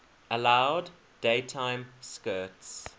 allowed daytime skirts